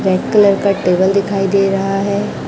Black colour का table दिखाई दे रहा है।